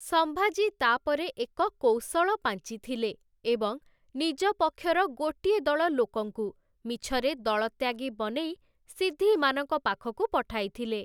ସମ୍ଭାଜୀ ତା'ପରେ ଏକ କୌଶଳ ପାଞ୍ଚିଥିଲେ, ଏବଂ ନିଜ ପକ୍ଷର ଗୋଟିଏ ଦଳ ଲୋକଙ୍କୁ ମିଛରେ ଦଳତ୍ୟାଗୀ ବନେଇ ସିଦ୍ଧିମାନଙ୍କ ପାଖକୁ ପଠାଇଥିଲେ ।